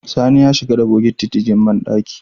Sani ya shiga da bokiti ciki banɗaki